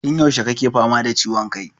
Tun yaushe kake fama da ciwon kai?